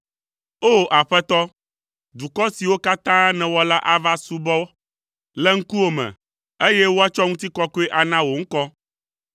O! Aƒetɔ, dukɔ siwo katã nèwɔ la ava asubɔ le ŋkuwò me, eye woatsɔ ŋutikɔkɔe ana wò ŋkɔ.